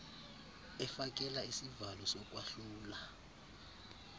efakela isivalo sokwahlula